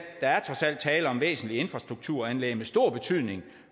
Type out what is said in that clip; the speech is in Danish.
tale om væsentlige infrastrukturanlæg med stor betydning